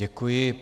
Děkuji.